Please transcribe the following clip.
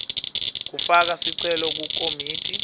kufaka sicelo kukomiti